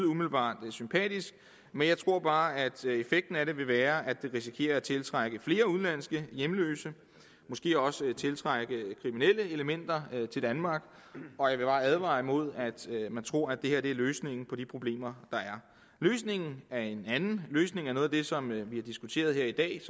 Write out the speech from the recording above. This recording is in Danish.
umiddelbart lyde sympatisk men jeg tror bare at effekten af det vil være at det risikerer at tiltrække flere udenlandske hjemløse og måske også tiltrække kriminelle elementer til danmark og jeg vil bare advare imod at man tror at det her er løsningen på de problemer der er løsningen er en anden løsningen er noget af det som vi har diskuteret her i dag